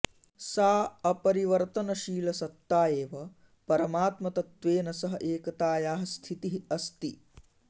सा अपरिवर्तनशीलसत्ता एव परमात्मतत्वेन सह एकतायाः स्थितिः अस्ति